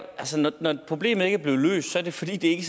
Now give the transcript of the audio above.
når problemet ikke er blevet løst er det fordi det ikke